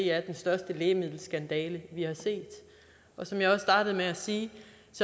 er den største lægemiddelskandale vi har set som jeg startede med at sige